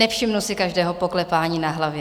Nevšimnu si každého poklepání na hlavě.